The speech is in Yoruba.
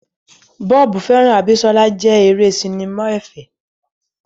Bob hearts Abisola jẹ́ eré sinimá ẹ̀fẹ̀.